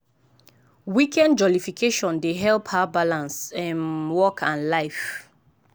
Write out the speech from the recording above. weekend jollification dey help her balance um work and life.